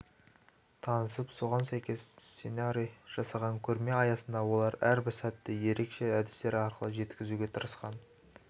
танысып соған сәйкес сценарий жасаған көрме аясында олар әрбір сәтті ерекше әдістер арқылы жеткізуге тырысқан